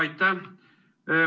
Aitäh!